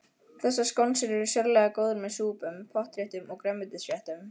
Þessar skonsur eru sérlega góðar með súpum, pottréttum og grænmetisréttum.